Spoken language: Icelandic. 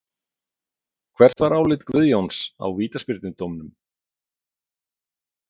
Hvert var álit Guðjóns á vítaspyrnudómnum?